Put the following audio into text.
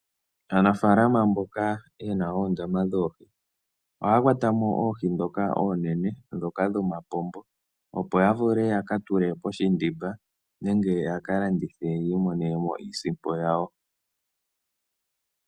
Aanafalama mboka yena oondama dhoohi, ohaya kwatamo oohi dhoka oonene, dhoka dhomapombo, opo ya vule yaka tule poshindimba nenge yaka landithe yiimonenemo iisimpo yawo.